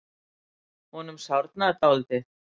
Honum sárnar dálítið.